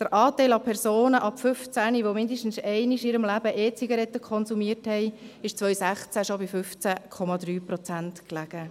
Der Anteil an Personen ab 15 Jahren, welche mindestens einmal in ihrem Leben E-Zigaretten konsumiert haben, lag 2016 schon bei 15,3 Prozent.